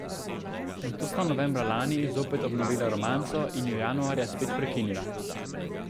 Nato sta novembra lani zopet obnovila romanco in jo januarja spet prekinila.